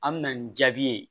An me na nin jaabi ye